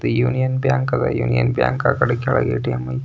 union bank ಅದ union bank ಆಕಡೆ ಕೆಳಗೆ ಎ.ಟಿ.ಎಮ್ --